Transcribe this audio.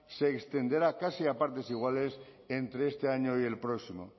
se extenderá casi a partes iguales entre este año y el próximo